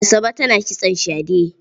Asabe tana kitson shade.